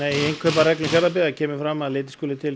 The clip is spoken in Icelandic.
í innkaupareglum Fjarðabyggðar kemur fram að litið skuli til